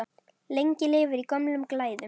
Lengi lifir í gömlum glæðum!